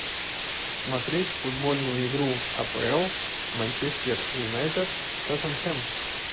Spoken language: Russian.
смотреть футбольную игру апл манчестер юнайтед тоттенхэм